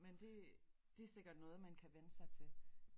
Men det det sikkert noget man kan vænne sig til